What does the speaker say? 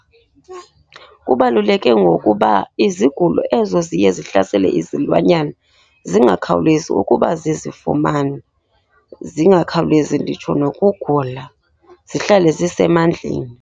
Kubaluleke ngokuba izigulo ezo ziye ziyihlasele izilwanyana zingakhawulezi ukuba zizifumane. Zingakhawulezi nditsho nokugula, zihlale zisemandleni.